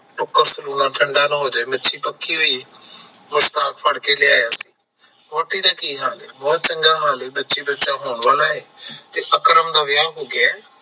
cooker ਚ ਰੋਲਾ ਠੰਡਾ ਨਾ ਹੋਜੇ ਮੱਛੀ ਪੱਕੀ ਹੋਈ ਐ ਮੁਸਤਾਨ ਫੜ ਕੇ ਲਿਆ ਸੀ ਵਹੁਟੀ ਦਾ ਕੀ ਹਾਲ ਐ ਬਹੁਤ ਚੰਗਾ ਹਾਲ ਐ ਬੱਚਾ ਬੱਚੀ ਹੋਣ ਵਾਲਾ ਐ ਤੇ ਅਕਰਮ ਦਾ ਵਿਆਹ ਹੋ ਗਿਆ